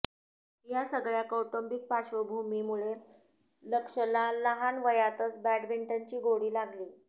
या सगळ्या कौटुंबिक पार्श्वभीमुळे लक्ष्यला लहान वयातच बॅडमिंटनची गोडी लागली